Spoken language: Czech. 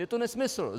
Je to nesmysl.